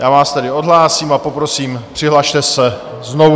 Já vás tedy odhlásím a poprosím, přihlaste se znovu.